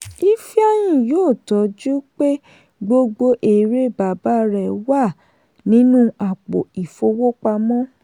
ifeanyi yóò tọ́jú pé gbogbo èrè baba rẹ̀ wà nínú àpò ìfowópamọ́.